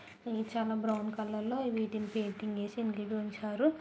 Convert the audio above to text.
ఇవి చాలా brown colour లో వీటిని పెయింటింగ్ వేసి గిదిన్ ఉంచారు.